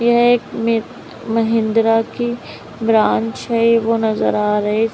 यह एक महिंद्रा की ब्रांच है वह नजर आ रहे--